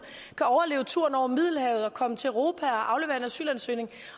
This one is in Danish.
kan overleve turen over middelhavet og komme til europa og aflevere en asylansøgning